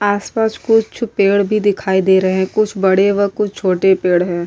आस पास कुछ पेड़ भी दिखाई दे रहे है कुछ बड़े व कुछ छोटे पेड़ है।